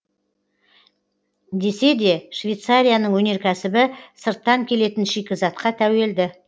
десе де швейцарияның өнеркәсібі сырттан келетін шикізатқа тәуелді